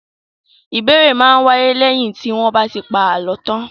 Ìbéèrè máa ń wáyé lẹ́yìn tí wọ́n bá ti pa àlọ́ tán.